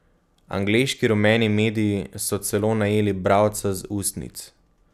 Angleški rumeni mediji so celo najeli bralca z ustnic.